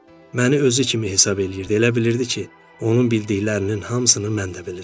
Məni özü kimi hesab eləyirdi, elə bilirdi ki, onun bildiklərinin hamısını mən də bilirəm.